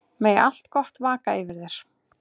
Megi allt gott vaka yfir þér.